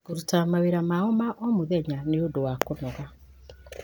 kũruta mawĩra mao ma o mũthenya nĩ ũndũ wa kũnoga.